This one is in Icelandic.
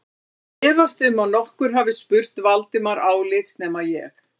Ég efast um að nokkur hafi spurt Valdimar álits nema ég